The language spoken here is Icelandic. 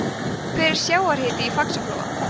hver er sjávarhiti í faxaflóa